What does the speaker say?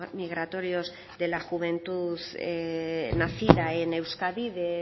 migratorios de la juventud nacida en euskadi de